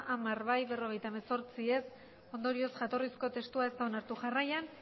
hamar bai berrogeita hemezortzi ez ondorioz jatorrizko testua ez da onartu jarraian